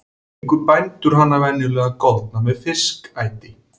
Fengu bændur hana venjulega goldna með fiskæti.